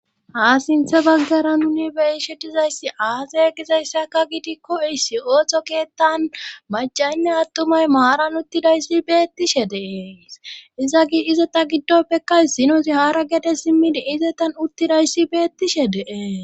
a sinthe baggara nuni beyishe dizayssi aasey gizayssaka gidikko issi ooththo keettan majaynna attumay maaran uttidayssi beettishe dee izagi izeta giddoppekka sinozi haara gede simmidi izetan uttidayssi beettishe dee